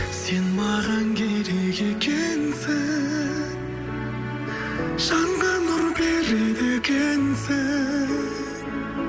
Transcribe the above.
сен маған керек екенсің жанға нұр береді екенсің